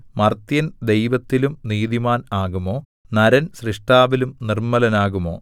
മർത്യൻ ദൈവത്തിലും നീതിമാൻ ആകുമോ നരൻ സ്രഷ്ടാവിലും നിർമ്മലനാകുമോ